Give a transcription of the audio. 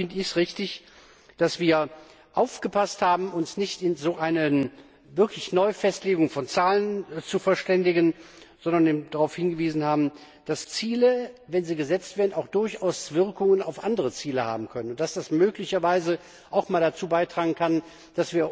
Insofern finde ich es richtig, dass wir darauf geachtet haben, uns nicht in so einer neuen Festlegung von Zahlen zu verständigen, sondern eben darauf hingewiesen haben, dass Ziele, wenn sie gesetzt werden, auch durchaus Wirkungen auf andere Ziele haben können, und dass das möglicherweise auch mal dazu beitragen kann, dass wir